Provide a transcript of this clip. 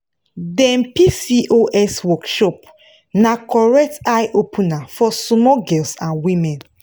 dem pcos workshop na correct eye opener for small girls and women.